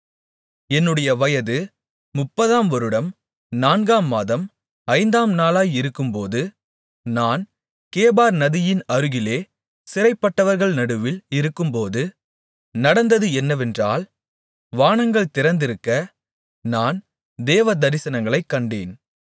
என்னுடைய வயது முப்பதாம் வருடம் நான்காம் மாதம் ஐந்தாம் நாளாய் இருக்கும்போது நான் கேபார் நதியின் அருகிலே சிறைப்பட்டவர்கள் நடுவில் இருக்கும்போது நடந்தது என்னவென்றால் வானங்கள் திறந்திருக்க நான் தேவதரிசனங்களைக் கண்டேன்